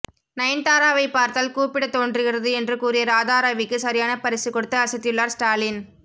நயன்தாராவை பார்த்தால் கூப்பிட தோன்றுகிறது என்று கூறிய ராதாரவிக்கு சரியான பரிசு கொடுத்து அசத்தியுள்ளார் ஸ்டாலின்